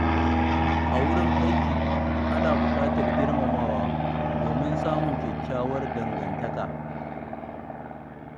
A wurin aiki, ana buƙatar girmamawa domin samun kyakkyawar dangantaka.